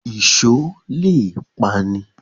Ìṣó le è pani